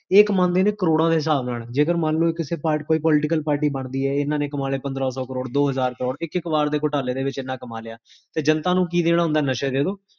ਇਹ ਕਮਾਂਦੇ ਨੇ ਕ੍ਰੋਰ੍ਹਾ ਦੇ ਹਿਸਾਬ ਨਾਲ ਜੇ ਅਗਰ ਮਾਂਲੋ ਕਿਸੇ party, ਕੋਈ political party ਬਣਦੀ ਹੈ, ਜਿੰਨਾ ਨੇ ਕਮਾ ਲੇ ਪੰਦਰਾ ਸੋ, ਕ੍ਰੋਢ਼, ਦੋ ਹਜਾਰ ਕ੍ਰੋੜ੍ਹ, ਇਕ ਇਕ ਵਾਰ ਦੇ ਘੋਟਾਲੇ ਦੇ ਵਿੱਚ ਇੰਨਾ ਕਮਾ ਲਿਆ ਤੇ ਜਨਤਾ ਨੂ ਕੀ ਦੇਣਾ ਹੁੰਦੇ ਨਸ਼ੇ ਦੇਦੋ